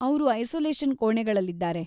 ಅವ್ರು ಐಸೋಲೇಷನ್‌ ಕೋಣೆಗಳಲ್ಲಿದ್ದಾರೆ.